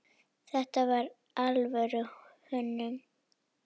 Þetta var alvöru hönnun.